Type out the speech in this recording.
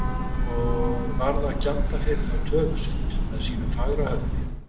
Og varð að gjalda fyrir þá höfuðsynd með sínu fagra höfði.